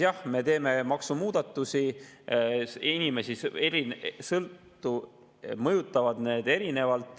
Jah, me teeme maksumuudatusi, inimesi mõjutavad need erinevalt.